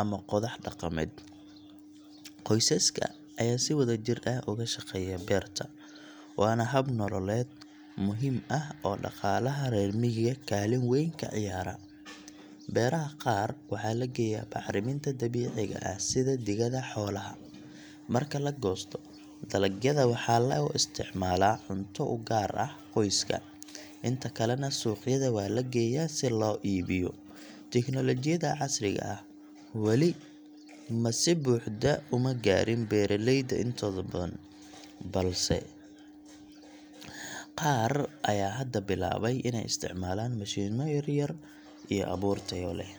ama qodax dhaqameed. Qoysaska ayaa si wadajir ah uga shaqeeya beerta, waana hab nololeed muhiim ah oo dhaqaalaha reer miyiga kaalin weyn ka ciyaara. Beeraha qaar waxa la geeyaa bacriminta dabiiciga ah sida digada xoolaha. Marka la goosto, dalagyada waxaa loo isticmaalaa cunto u gaar ah qoyska, inta kalena suuqyada waa la geeyaa si loo iibiyo. Teknolojiyadda casriga ah wali ma si buuxda uma gaarin beeraleyda intooda badan, balse qaar ayaa hadda bilaabay inay isticmaalaan mashiinno yar yar iyo abuur tayo leh.